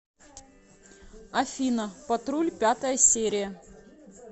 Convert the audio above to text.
афина патруль пятая серия